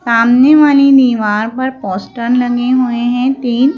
सामने वाली दीवार पर पोस्टर लगे हुए हैं तीन--